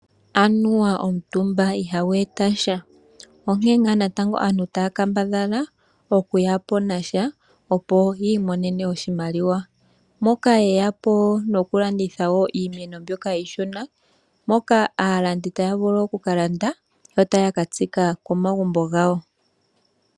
Anuwa omutumba ihagu etasha onkee ngaa natango aantu taa kambadha okuya po nasha opo yiimonene oshimaliwa, moka yeya po nomukalo gwokulanditha iimeno iishona, moka aalandi taa vulu okukalanda yo taakatsika komagumbo ngawo.